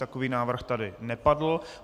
Takový návrh tady nepadl.